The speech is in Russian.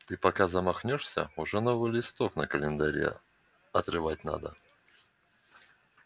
ты пока замахнёшься уже новый листок на календаре отрывать надо